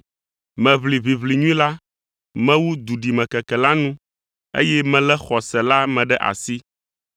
Meʋli ʋiʋli nyui la, mewu duɖimekeke la nu, eye melé xɔse la me ɖe asi.